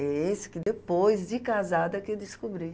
É esse que depois de casada que eu descobri.